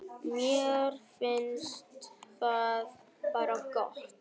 Mér finnst það bara gott.